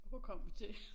Og hvor kom vi til?